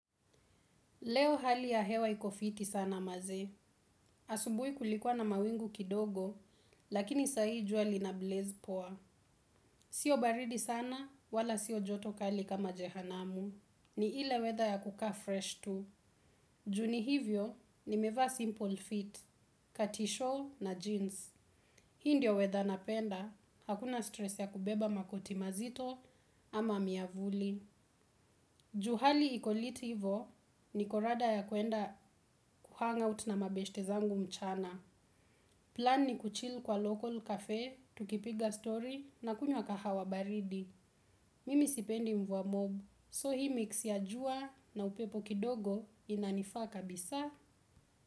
Leo hali ya hewa iko fiti sana maze. Asubui kulikuwa na mawingu kidogo, lakini sahi jua lina blaze poa. Sio baridi sana wala sio joto kali kama jehanamu. Ni ile weather ya kukaa fresh tu. Juu ni hivyo, nimevaa simple fit, katisho na jeans. Hii ndio weather napenda, hakuna stress ya kubeba makoti mazito ama miavuli. Juu hali iko lit ivo niko rada ya kwenda kuhungout na mabeshte zangu mchana. Plan ni kuchill kwa local cafe, tukipiga story na kunywa kahawa baridi. Mimi sipendi mvua mob, so hii mix ya jua na upepo kidogo inanifaa kabisa.